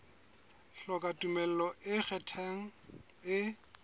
hloka tumello e ikgethang e